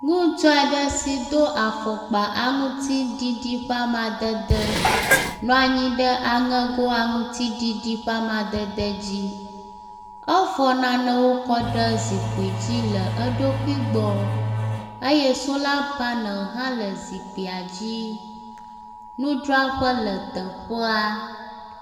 Ŋutsu aɖe si do afɔkpa aŋutiɖiɖi ƒe amadede nɔ anyi ɖe aŋego aŋutiɖiɖi ƒe amadede dzi. Efɔ nanewo kɔ ɖe zikpui dzi le eɖokui gbɔ eye sola panel hã le zikpuia dzi. Nudzraƒe le teƒea.